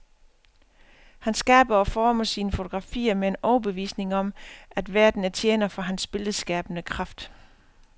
Han skaber og former sine fotografier med en overbevisning om, at verden er tjener for hans billedskabende kraft.